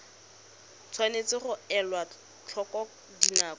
tshwanetse ga elwa tlhoko dinako